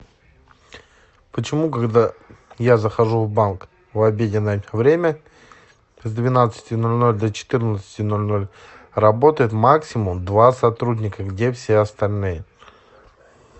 почему когда я захожу в банк в обеденное время с двенадцати ноль ноль до четырнадцати ноль ноль работает максимум два сотрудника где все остальные